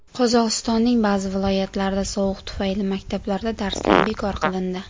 Qozog‘istonning ba’zi viloyatlarida sovuq tufayli maktablarda darslar bekor qilindi.